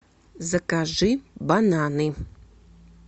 закажи бананы